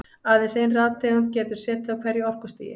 Aðeins ein rafeind getur setið á hverju orkustigi.